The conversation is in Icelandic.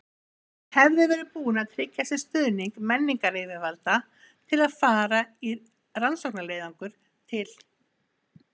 Hann hefði verið búinn að tryggja sér stuðning menningaryfirvalda til að fara í rannsóknarleiðangur til